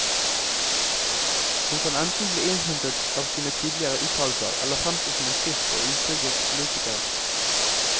Hun kan enten bli innhentet av sine tidligere uttalelser, eller fremstå som en frisk og ustriglet politiker.